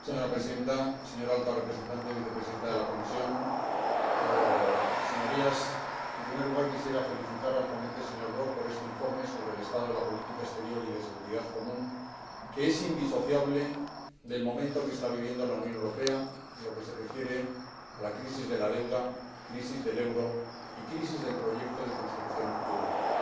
Señora Presidenta, señora Alta Representante Vicepresidenta de la Comisión, Señorías, en primer lugar quisiera felicitar al ponente, señor Brok, por este informe sobre el estado de la política exterior y de seguridad común, que es indisociable del momento que está viviendo la Unión Europea en lo que se refiere a la crisis de la deuda, a la crisis del euro y a la crisis del proyecto de construcción europea.